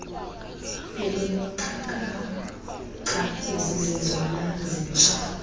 elineenkcukacha ezizezona zintsha